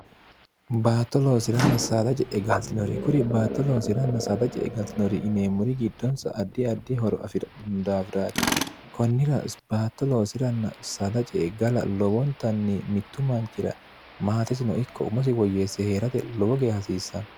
baatto loosiranna saala ce e galtinore kuri baatto loosiranna saada ce e galtinori ineemmuri giddonsa addi addi horo afi'raino daafiraati kunnirabaatto loosiranna sada ce e gala lowoontanni mittu manchira maatetino ikko umosi woyyeesse hee'rate lowo gee hasiissanno